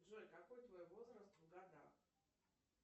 джой какой твой возраст в годах